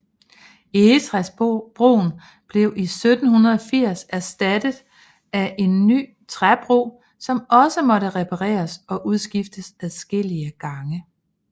Egetræsbroen blev i 1780 erstattet af en ny træbro som også måtte repareres og udskiftes adskillige gange